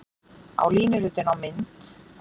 Á línuritinu á mynd